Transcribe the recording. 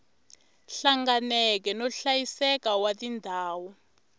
hlanganeke no hlayiseka wa tindhawu